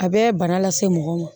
A bɛ bana lase mɔgɔ ma